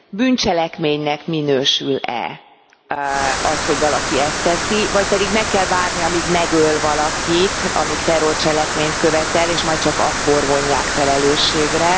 Bűncselekménynek minősül e az, hogy valaki ezt teszi, vagy pedig meg kell várni, amíg megöl valakit, amíg terrorcselekményt követ el, és majd csak akkor vonják felelősségre?